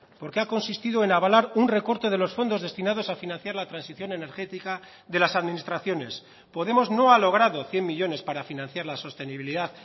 porque ha consistido en avalar un recorte de los fondos destinados a financiar la transición energética de las administraciones podemos no ha logrado cien millónes para financiar la sostenibilidad